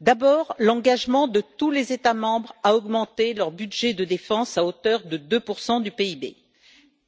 D'abord l'engagement de tous les États membres à augmenter leur budget de défense, à hauteur de 2 du PIB,